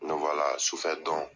N'o b'a la, sufɛ dɔn